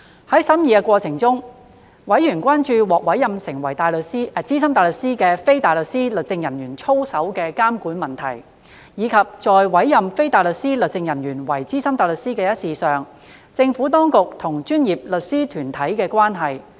在審議的過程中，委員關注獲委任為資深大律師的非大律師律政人員操守的監管問題，以及在委任非大律師律政人員為資深大律師一事上，政府當局與專業律師團體的關係。